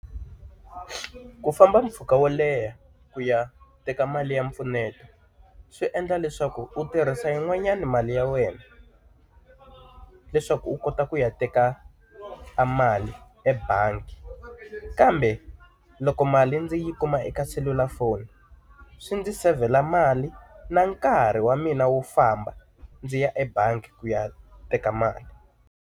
Ku famba mpfhuka wo leha ku ya teka mali ya mpfuneto, swi endla leswaku u tirhisa yin'wanyani mali ya wena leswaku u kota ku ya teka mali mali ebangi. Kambe loko mali ndzi yi kuma eka selulafoni, swi ndzi seyivhela mali na nkarhi wa mina wo famba ndzi ya ebangi ku ya teka mali.